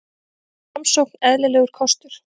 Framsókn eðlilegur kostur